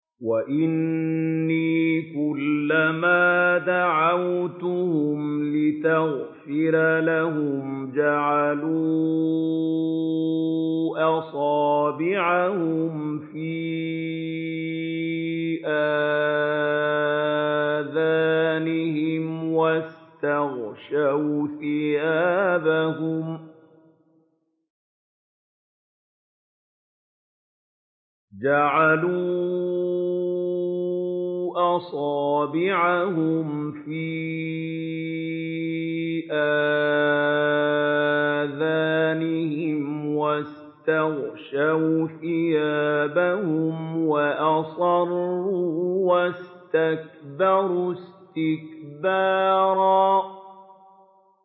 وَإِنِّي كُلَّمَا دَعَوْتُهُمْ لِتَغْفِرَ لَهُمْ جَعَلُوا أَصَابِعَهُمْ فِي آذَانِهِمْ وَاسْتَغْشَوْا ثِيَابَهُمْ وَأَصَرُّوا وَاسْتَكْبَرُوا اسْتِكْبَارًا